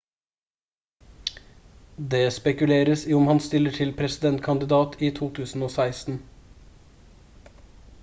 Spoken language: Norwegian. det spekuleres i om han stiller som presidentkandidat i 2016